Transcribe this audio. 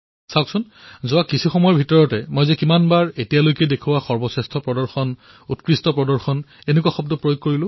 চাওক কেইমিনিটমান পূৰ্বে মই আপোনালোকৰ সন্মুখত কিমানবাৰ এই পৰ্যন্ত উন্নত প্ৰদৰ্শন আদি শব্দৰ ব্যৱহাৰ কৰিছোঁ